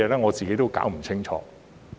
我自己也搞不清楚。